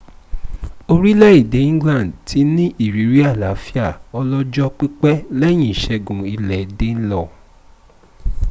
orílẹ̀èdè england ti ní ìrírí àlàáfíà ọlọ́jọ́ pípẹ́ lẹ́yìn ìṣẹ́gun ilẹ̀ danelaw